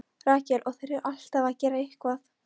Rakel: Og þeir eru alltaf að gera eitthvað.